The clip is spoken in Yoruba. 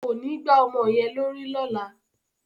Kò ní gbá ọmọ yẹn lórí lọ́la!